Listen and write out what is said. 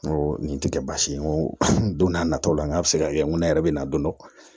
N ko nin ti kɛ baasi ye n ko don n'a nataw la n k'a bɛ se ka kɛ n ko ne yɛrɛ bɛ na don dɔ